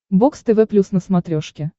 бокс тв плюс на смотрешке